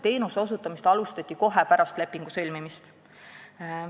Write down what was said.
Teenuse osutamist alustati kohe pärast lepingu sõlmimist.